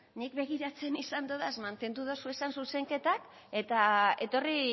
nik begiratzen izan dodaz mantendu dozu zuzenketak eta etorri